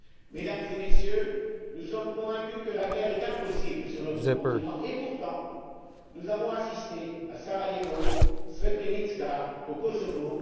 Mesdames et Messieurs, nous sommes convaincus que la guerre est impossible sur notre continent et pourtant nous y avons assisté à Sarajevo, à Srebrenica et au Kosovo.